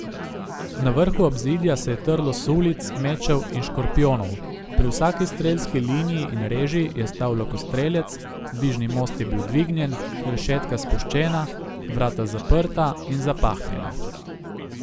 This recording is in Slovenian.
Na vrhu obzidja se je trlo sulic, mečev in škorpijonov, pri vsaki strelski lini in reži je stal lokostrelec, dvižni most je bil dvignjen, rešetka spuščena, vrata zaprta in zapahnjena.